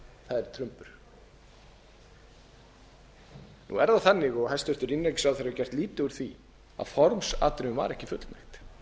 nú er það þannig og hæstvirtur innanríkisráðherra hefur gert lítið úr því að formsatriðum var ekki fullnægt